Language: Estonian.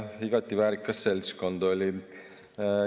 Igati väärikas seltskond oli.